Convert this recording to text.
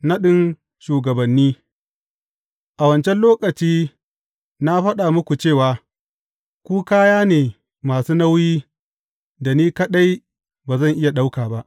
Naɗin shugabanni A wancan lokaci na faɗa muku cewa, Ku kaya ne masu nauyi da ni kaɗai ba zan iya ɗauka ba.